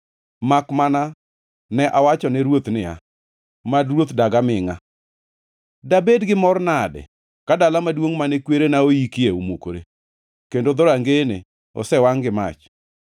makmana ne awachone ruoth niya, “Mad ruoth dag amingʼa! Dabed gi mor nade ka dala maduongʼ mane kwerena oyikie omukore, kendo dhorangeyene osewangʼ gi mach.”